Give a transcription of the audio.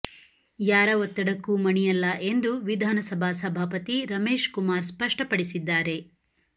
ಯಾರ ಒತ್ತಡಕ್ಕೂ ಮಣಿಯಲ್ಲ ಎಂದು ವಿಧಾನಸಭಾ ಸಭಾಪತಿ ರಮೇಶ್ ಕುಮಾರ್ ಸ್ಪಷ್ಟಪಡಿಸಿದ್ದಾರೆ